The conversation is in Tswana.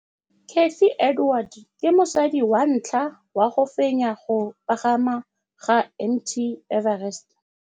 Cathy Odowd ke mosadi wa ntlha wa go fenya go pagama ga Mt Everest.